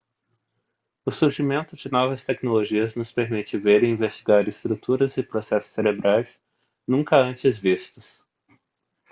o surgimento de novas tecnologias nos permite ver e investigar estruturas e processos cerebrais nunca antes vistos